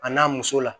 A n'a muso la